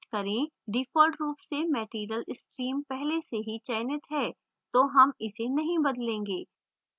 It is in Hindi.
default रूप से material stream पहले से ही चयनित है तो हम इसे नहीं बदलेंगे